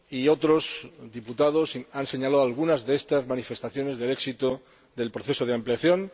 otros diputados han señalado algunas de las manifestaciones del éxito del proceso de ampliación.